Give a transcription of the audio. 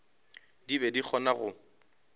di be di kgona go